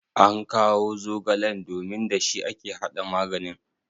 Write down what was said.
ankawo zogalen domin da shi ake hada maganin?